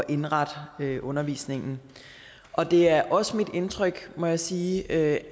indrette undervisningen og det er også mit indtryk må jeg sige at